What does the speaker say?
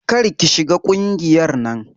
Kar ki shiga ƙungiyar nan.